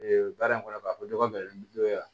baara in kɔnɔ k'a fɔ dɔgɔ ni dɔ ye